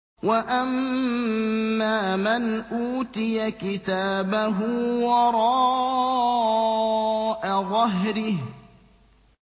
وَأَمَّا مَنْ أُوتِيَ كِتَابَهُ وَرَاءَ ظَهْرِهِ